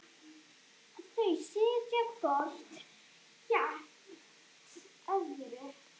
Þau sitja hvort gegnt öðru.